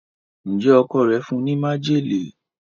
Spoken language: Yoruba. Njé Ọkọ rẹ fún ní májèlé?